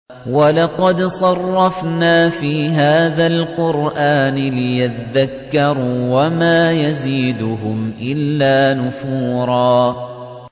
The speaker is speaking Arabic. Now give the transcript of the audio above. وَلَقَدْ صَرَّفْنَا فِي هَٰذَا الْقُرْآنِ لِيَذَّكَّرُوا وَمَا يَزِيدُهُمْ إِلَّا نُفُورًا